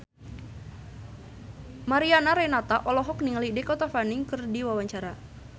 Mariana Renata olohok ningali Dakota Fanning keur diwawancara